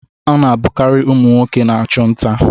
Ọ na-abụkarị ụmụ nwoke na-achụ nta.